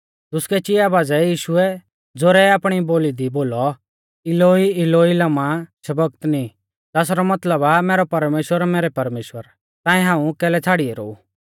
दुसकै चिआ बाज़ै यीशुऐ ज़ोरै आपणी बोली दी बोलौ इलोई इलोई लमा शबक्तनी ज़ासरौ मतलब आ मैरै परमेश्‍वर मैरै परमेश्‍वर ताऐं हाऊं कैलै छ़ाड़ी ऐरौ ऊ